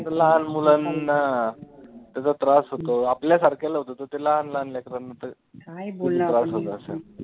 लहान मुलांना त्याचा त्रास होतो आपल्या सारख्याला होतो, तर त्या लहान लहान लेकरांना तर किती त्रास होतं असेल.